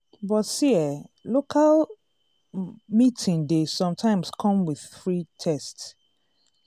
but see eh local um meeting dey sometimes come with free test.